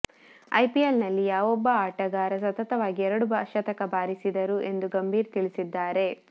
IPL ನಲ್ಲಿ ಯಾವೊಬ್ಬ ಆಟಗಾರ ಸತತವಾಗಿ ಎರಡು ಶತಕ ಬಾರಿಸಿದರು ಎಂದು ಗಂಭೀರ್ ತಿಳಿಸಿದ್ದಾರೆ